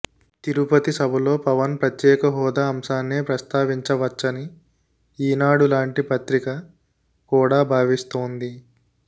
తిరుపతి సభలో పవన్ ప్రత్యేకహోదా అంశాన్నే ప్రస్తావించవచ్చని ఈనాడు లాంటి పత్రిక కూడా భావిస్తోంది